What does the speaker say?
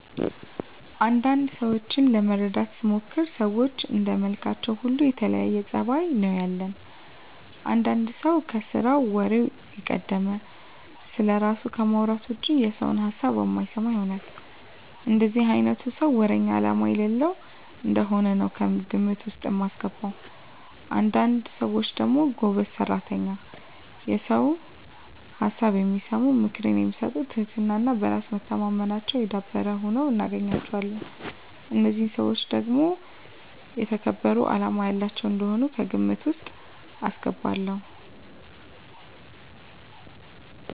አንዳንድ ሰዎችን ለመረዳት ስሞክር ሰዎች እንደመልካችን ሁሉ የተለያየ ፀባይ ነው ያለን። አንዳንድ ሰው ከስራው ወሬው የቀደመ፣ ስለራሱ ከማውራት ውጭ የሰውን ሀሳብ የማይሰማ ይሆናል። እንደዚህ አይነቱን ሰው ወረኛ አላማ የሌለው እንደሆነ ነው ከግምት ውስጥ ማስገባው። አንዳንድ ሰዎች ደግሞ ጎበዝ ሰራተኛ፣ የሰውን ሀሳብ የሚሰሙ፣ ምክር የሚሰጡ ትህትና እና በራስ መተማመናቸው የዳበረ ሁነው እናገኛቸዋለን። እነዚህን ሰዎች ደግሞ የተከበሩ አላማ ያላቸው እንደሆኑ ከግምት ውስጥ አስገባለሁ።